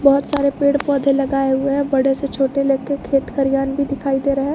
बहुत सारे पेड़ पौधे लगाए हुए हैं बड़े से छोटे ले के खेत खलियान भी दिखाई दे रहा है।